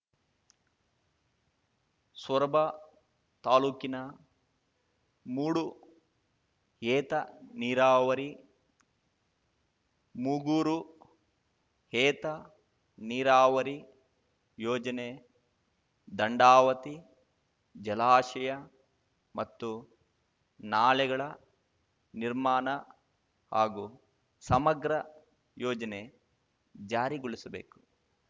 ಸೊರಬ ತಾಲೂಕಿನ ಮೂಡು ಏತ ನೀರಾವರಿ ಮೂಗೂರು ಏತ ನೀರಾವರಿ ಯೋಜನೆ ದಂಡಾವತಿ ಜಲಾಶಯ ಮತ್ತು ನಾಲೆಗಳ ನಿರ್ಮಾಣ ಹಾಗೂ ಸಮಗ್ರ ಯೋಜನೆ ಜಾರಿಗೊಳಿಸಬೇಕು